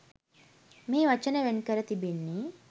මෙහි වචන වෙන් කර තිබෙන්නේ